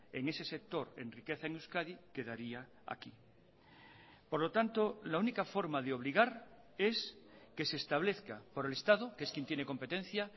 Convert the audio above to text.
en ese sector en riqueza en euskadi quedaría aquí por lo tanto la única forma de obligar es que se establezca por el estado que es quien tiene competencia